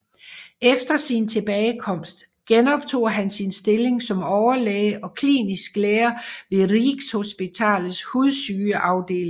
Efter sin tilbagekomst genoptog han sin stilling som overlæge og klinisk lærer ved Rikshospitalets hudsygeafdeling